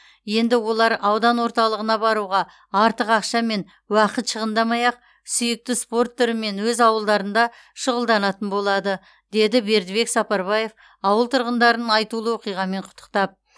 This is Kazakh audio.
енді олар аудан орталығына баруға артық ақша мен уақыт шығындамай ақ сүйікті спорт түрімен өз ауылдарында шұғылданатын болады деді бердібек сапарбаев ауыл тұрғындарын айтулы оқиғамен құттықтап